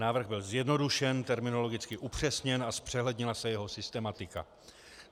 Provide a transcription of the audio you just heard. Návrh byl zjednodušen, terminologicky upřesněn a zpřehlednila se jeho systematika.